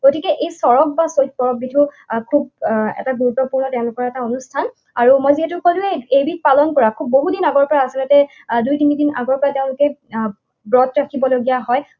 গতিকে এই চড়ক বা চৈকড়ক খুব এটা গুৰুত্বপূৰ্ণ তেওঁলোকৰ এটা অনুষ্ঠান। আৰু মই যিহেতু কলোৱেই এইবিধ পালন কৰা বহুতদিন আগৰ পৰা আচলতে দুই তিনিদিন আগৰ পৰা তেওঁলোকে আহ ব্ৰত ৰাখিবলগীয়া হয়,